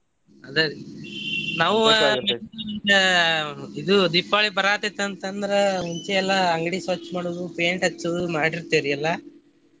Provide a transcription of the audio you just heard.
ಅದೇರಿ ನಾವು ಇದು ದೀಪಾವಳಿ ಬರಾತೇತಿ ಅಂತಂದ್ರೆ ಮುಂಚೆ ಎಲ್ಲಾ ಅಂಗ್ಡಿ ಸ್ವಚ್ಛ ಮಾಡೋದು paint ಹಚ್ಚೋದು ಮಾಡಿರ್ತೆವ್ರಿ ಎಲ್ಲಾ.